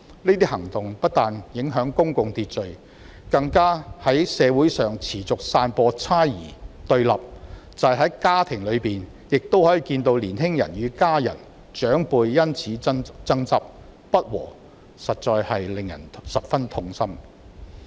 這些行動不但影響公共秩序，更在社會上持續散播猜疑和對立，即使在家庭中亦可以看到，年輕人與家人和長輩因此事爭執及不和，實在令人十分痛心。